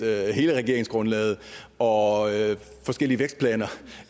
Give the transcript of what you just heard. hele regeringsgrundlaget og forskellige vækstplaner